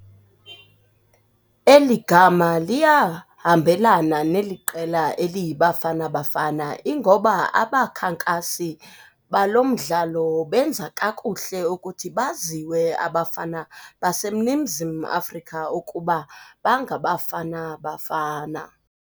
Eli gama liyahambelana neli qela eliyiBafana Bafana. Ingoba abakhankasi balo mdlalo benza kakuhle ukuthi baziwe abafana baseNingizimu Afrika ukuba bangaBafana Bafana.